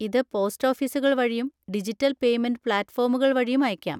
ഇത് പോസ്റ്റ് ഓഫീസുകൾ വഴിയും ഡിജിറ്റൽ പേയ്‌മെന്റ് പ്ലാറ്റ്‌ഫോമുകൾ വഴിയും അയയ്ക്കാം.